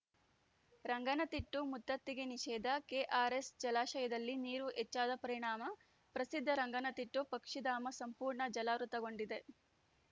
ರಂಗನತಿಟ್ಟು ಮುತ್ತತ್ತಿಗೆ ನಿಷೇಧ ಕೆಆರ್‌ಎಸ್‌ ಜಲಾಶಯದಲ್ಲಿ ನೀರು ಹೆಚ್ಚಾದ ಪರಿಣಾಮ ಪ್ರಸಿದ್ಧ ರಂಗನತಿಟ್ಟು ಪಕ್ಷಿಧಾಮ ಸಂಪೂರ್ಣ ಜಲಾವೃತಗೊಂಡಿದೆ